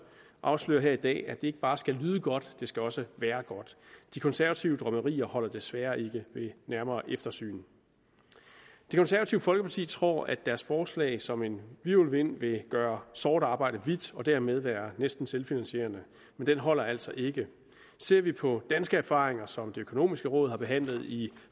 afsløre her i dag at det ikke bare skal lyde godt det skal også de konservative drømmerier holder desværre ikke ved nærmere eftersyn det konservative folkeparti tror at deres forslag som en hvirvelvind vil gøre sort arbejde hvidt og dermed være næsten selvfinansierende men den holder altså ikke ser vi på danske erfaringer som det økonomiske råd har behandlet i